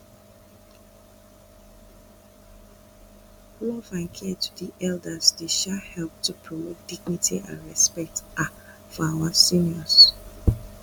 love and care to di elders dey um help to promote dignity and respect um for our seniors